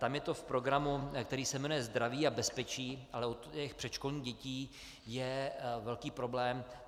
Tam je to v programu, který se jmenuje Zdraví a bezpečí, ale u těch předškolních dětí je velký problém.